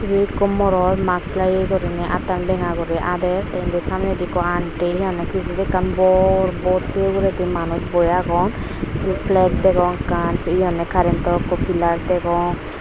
ebe eko morot mask lageye gorinei attan benya guri ader te indi samnedi ekko anty hihonde pijedi ekkan bor bot sei uguredi manuch boi agon he flag degong ekkan he honde karento ekko pilar degong.